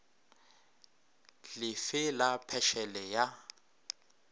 le fe la phešele ya